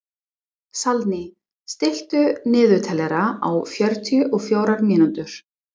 Salný, stilltu niðurteljara á fjörutíu og fjórar mínútur.